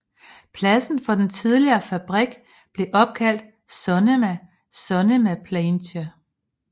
Pladsen for den tidligere fabrik blev opkaldt Sonnema Sonnemapleintje